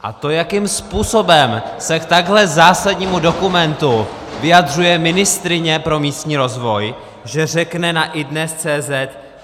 A to, jakým způsobem se k takhle zásadnímu dokumentu vyjadřuje ministryně pro místní rozvoj, že řekne na iDNES.cz